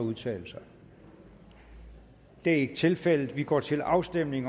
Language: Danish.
at udtale sig det er ikke tilfældet og vi går til afstemning